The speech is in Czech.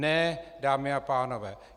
Ne, dámy a pánové!